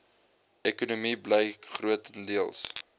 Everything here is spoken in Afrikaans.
ekonomie bly grotendeels